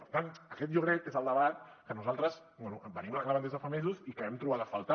per tant aquest jo crec que és el debat que nosaltres venim reclamant des de fa mesos i que hem trobat a faltar